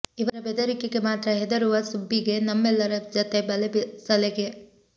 ಇವರ ಬೆದರಿಕೆಗೆ ಮಾತ್ರ ಹೆದರುವ ಸುಬ್ಬಿಗೆ ನಮ್ಮೆಲ್ಲರ ಜತೆ ಬಲೆ ಸಲಿಗೆ